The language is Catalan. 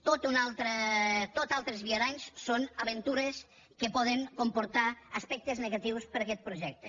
tots altres viaranys són aventures que poden comportar aspectes negatius per a aquest projecte